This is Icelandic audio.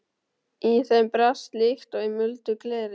Í þeim brast líkt og í muldu gleri.